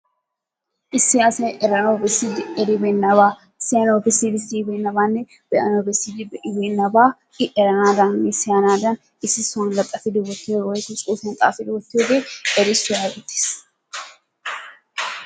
Issi asay eranawu bessidi eribeenabaa siyanawu bessidi siyibeenabaanne be'anawu bessid be'ibeenabaa i eranaadannine siyanaadan issi sohuwan laxaffidi wottiyogee woikko xaafidi wottiyoogee erisuwaa geetetees.